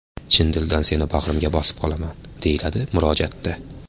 Chin dildan seni bag‘rimga bosib qolaman”, deyiladi murojaatda.